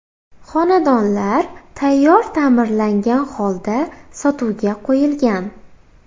Xonadonlar tayyor ta’mirlangan holda sotuvga qo‘yilgan.